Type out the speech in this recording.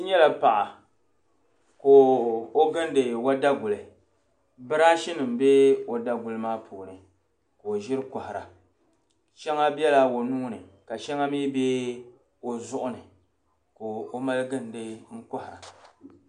N nyala paɣa ka o gindi o daguli. Biraashinima be o daguli maa puuni ka o ʒiri kɔhira. Shɛŋa bela o nuu ni ka shɛŋa mi be o zuɣu ni ka o mali gindi n-kɔhira.